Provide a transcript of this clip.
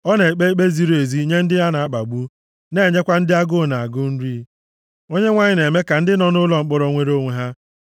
Ọ na-ekpe ikpe ziri ezi nye ndị a na-akpagbu na-enyekwa ndị agụụ na-agụ nri. Onyenwe anyị na-eme ka ndị nọ nʼụlọ mkpọrọ nwere onwe ha,